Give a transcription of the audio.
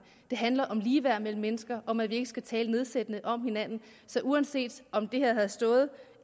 det handler om ligeværd mellem mennesker og om at vi ikke skal tale nedsættende om hinanden så uanset om det her havde stået